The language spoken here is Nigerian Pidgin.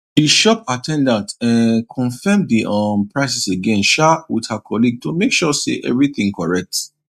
the shop at ten dant um confirm the um prices again sha with her colleague to make sure say everything correct